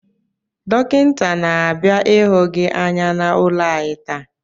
Dọkịnta na-abịa ịhụ gị anya n’ụlọ anyị taa